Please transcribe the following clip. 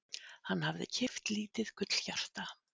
Hann hafði keypt lítið gullhjarta.